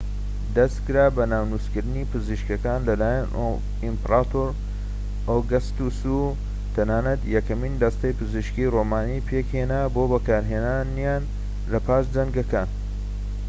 دەسکرا بە ناونوسکردنی پزیشکەکان لەلایەن ئیمپراتۆر ئۆگەستۆس و تەنانەت یەکەمین دەستەی پزیشکیی ڕۆمانی پێکهێنا بۆ بەکارهێنانیان لە پاش جەنگەکان